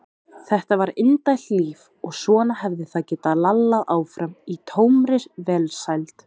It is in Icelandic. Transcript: Þetta var indælt líf og svona hefði það getað lallað áfram í tómri velsæld.